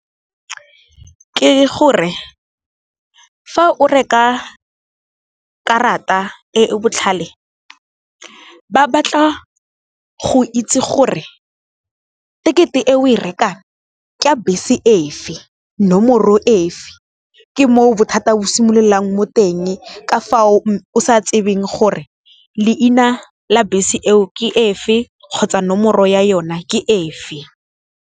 Ke gore, fa o reka karata e e botlhale ba batla go itse gore, tekeye e o e rekang ke ya bese efe, nomoro efe ke moo bothata bo simololang mo teng ka fao o sa tsebeng gore, leina la bese eo ke efe kgotsa nomoro ya yona ke efe.